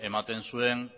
ematen zuen